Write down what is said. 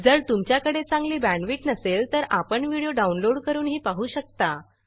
जर तुमच्याकडे चांगली बॅंडविड्त नसेल तर आपण व्हिडिओ डाउनलोड करूनही पाहू शकता